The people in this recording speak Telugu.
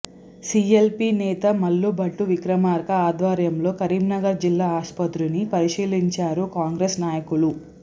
సీఎల్పీ నేత మల్లు భట్టి విక్రమార్క ఆధ్వర్యంలో కరీంనగర్ జిల్లా ఆస్పత్రిని పరిశీలించారు కాంగ్రెస్ నాయకులు